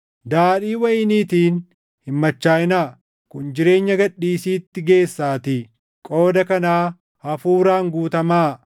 Daadhii wayiniitiin hin machaaʼinaa; kun jireenya gad dhiisiitti geessaatii. Qooda kanaa Hafuuraan guutamaa;